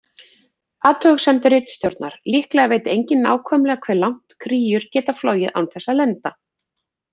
Athugasemd ritstjórnar: Líklega veit enginn nákvæmlega hve langt kríur geta flogið án þess að lenda.